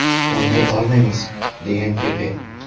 O‘ynay olmaymiz”, degan Pepe.